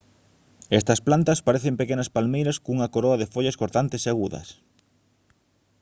estas plantas parecen pequenas palmeiras cunha coroa de follas cortantes e agudas